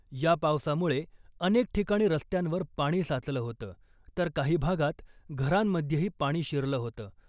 या पावसामुळे अनेक ठिकाणी रस्त्यांवर पाणी साचलं होतं , तर काही भागात घरांमध्येही पाणी शिरलं होतं .